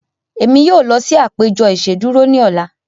Emi yoo lọ si apejọ iṣeduro ni ọla.